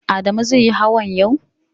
Adamu zai yi hawan yau?